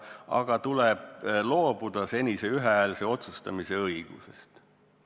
Ja samal ajal tuleb loobuda senise ühehäälse otsustamise reeglist.